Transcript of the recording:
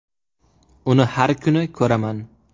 Uni har kuni ko‘raman.